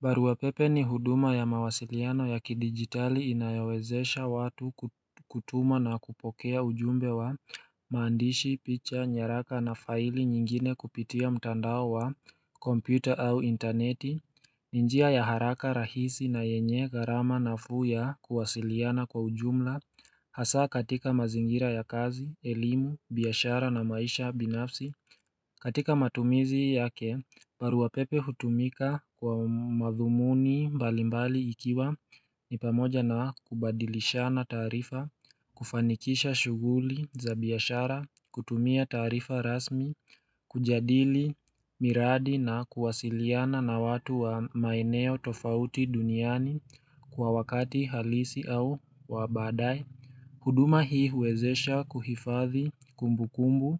Barua pepe ni huduma ya mawasiliano ya kidigitali inayo wezesha watu kutuma na kupokea ujumbe wa maandishi, picha, nyaraka na faili nyingine kupitia mtandao wa kompyuta au interneti. Ni njia ya haraka rahisi na yenye gharama nafuu ya kuwasiliana kwa ujumla Hasaa katika mazingira ya kazi, elimu, biashara na maisha binafsi katika matumizi yake barua pepe hutumika kwa madhumuni mbalimbali ikiwa ni pamoja na kubadilisha na taarifa, kufanikisha shughuli za biashara, kutumia taarifa rasmi, kujadili miradi na kuwasiliana na watu wa maeneo tofauti duniani kwa wakati halisi au wa baadaye huduma hii uwezesha kuhifadhi kumbukumbu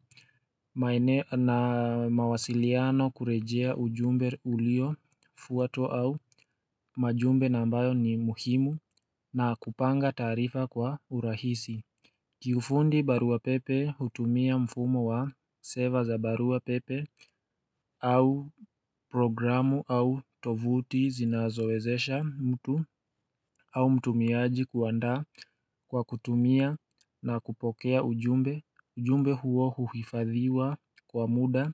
maeneo na mawasiliano kurejea ujumbe uliofuatwa au majumbe na ambayo ni muhimu na kupanga taarifa kwa urahisi kiufundi barua pepe hutumia mfumo wa seva za barua pepe au programu au tovuti zinazowezesha mtu au mtumiaji kuandaa kwa kutumia na kupokea ujumbe, ujumbe huo huhifadhiwa kwa muda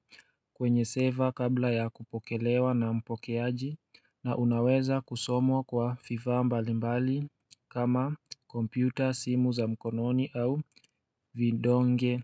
kwenye seva kabla ya kupokelewa na mpokeaji na unaweza kusomwa kwa fifa mbalimbali kama kompyuta simu za mkononi au vindonge.